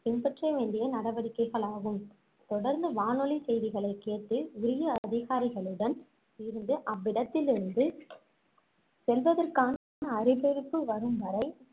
பின்பற்ற வேண்டிய நடவடிக்கைகளாகும் தொடர்ந்து வானொலி செய்திகளைக் கேட்டு உரிய அதிகாரிகளுடன் இருந்து அவ்விடத்திலிருந்து செல்வதற்கான அறிவிற்பு வரும்வரை